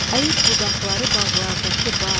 Əyib budaqları bağlardakı bar.